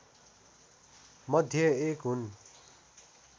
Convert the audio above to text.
मध्ये एक हुन्